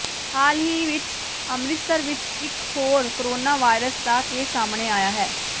ਹਾਲ ਹੀ ਵਿਚ ਅੰਮ੍ਰਿਤਸਰ ਵਿੱਚ ਇੱਕ ਹੋਰ ਕੋਰੋਨਾਵਾਇਰਸ ਦਾ ਕੇਸ ਸਾਹਮਣੇ ਆਇਆ ਹੈ